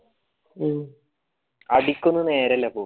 അടികൊന്നു നേരില്ലാ ഇപ്പോ